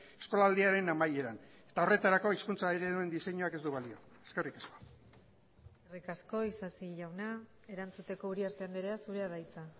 eskolaldiaren amaieran eta horretarako hizkuntza ereduen diseinuak ez du balio eskerrik asko eskerrik asko isasi jauna erantzuteko uriarte andrea zurea da hitza